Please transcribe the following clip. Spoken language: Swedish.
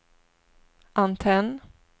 antenn